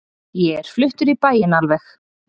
Ég er fluttur í bæinn alveg.